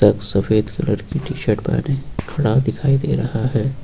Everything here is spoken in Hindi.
और सफेद कलर की टी शर्ट पहने खड़ा दिखाई दे रहा है।